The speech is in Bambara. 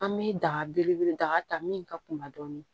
An bɛ daga belebele da min ka kunda dɔɔnin